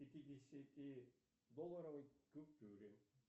пятидесяти долларовой купюре